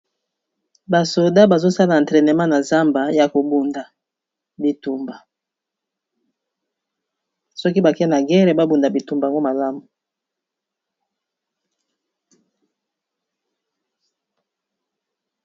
Ba soldats bazo sala entraînement na zamba ya ko bunda bitumba . Soki ba ke na guerre ba bunda bitumba yango malamu.